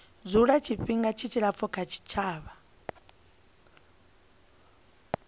dzula tshifhinga tshilapfu kha tshitshavha